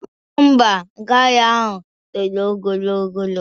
Ḿbà, gala ahụ toro ogologo.